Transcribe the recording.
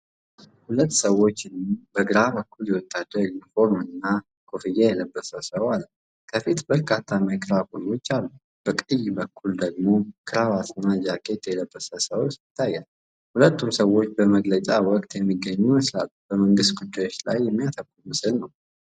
ሁለት ሰዎችን በግራ በኩል የወታደር ዩኒፎርምና ኮፍያ የለበሰ ሰው አለ፤ ከፊቱ በርካታ ማይክሮፎኖች አሉ። በቀኝ በኩል ደግሞ ክራባትና ጃኬት የለበሰ ሰው ይታያል። ሁለቱም ሰዎች በመግለጫ ወቅት የሚገኙ ይመስላል። በመንግሥት ጉዳዮች ላይ የሚያተኩር ምስል ነው።